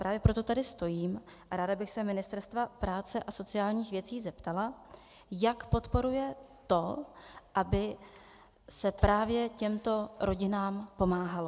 Právě proto tady stojím a ráda bych se Ministerstva práce a sociálních věcí zeptala, jak podporuje to, aby se právě těmto rodinám pomáhalo.